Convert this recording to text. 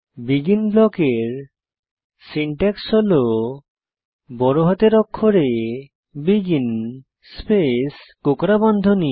begin ব্লকের syntax হল বড় হাতের অক্ষরে বেগিন স্পেস কোঁকড়া বন্ধনী